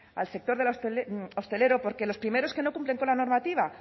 para el sector hostelero porque los primeros que no cumplen con la normativa